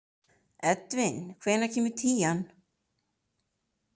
Edvin, hvenær kemur tían?